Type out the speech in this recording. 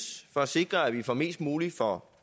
for at sikre at vi får mest muligt for